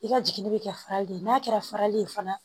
I ka jiginni bɛ kɛ farali ye n'a kɛra farali ye fana